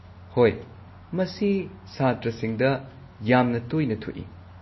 ꯍꯣꯏ ꯃꯁꯤ ꯁꯥꯇ꯭ꯔꯁꯤꯡꯗ ꯌꯥꯝꯅ ꯇꯣꯏꯅ ꯊꯣꯛꯏ꯫